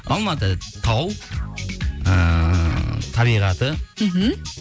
алматы тау ыыы табиғаты мхм